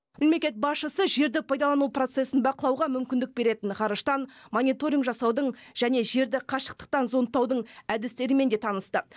мемлекет басшысы жерді пайдалану процесін бақылауға мүмкіндік беретін ғарыштан мониторинг жасаудың және жерді қашықтықтан зондтаудың әдістерімен де танысты